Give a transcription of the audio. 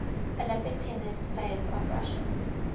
olympic tennis players of russia